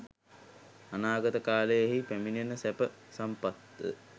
අනාගත කාලයෙහි පැමිණෙන සැප සම්පත් ද